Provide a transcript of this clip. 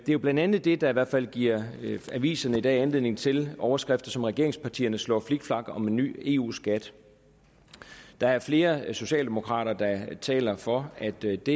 jo blandt andet det der i hvert fald giver aviserne i dag anledning til overskrifter som at regeringspartierne slår flikflak om en ny eu skat der er flere socialdemokrater der taler for at det det